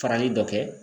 Farali dɔ kɛ